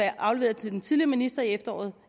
afleveret til den tidligere minister i efteråret